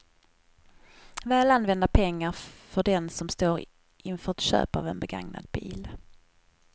Väl använda pengar för den som står inför ett köp av en begagnad bil.